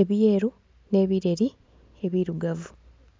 ebyeru nhe ebireri ebirugavu.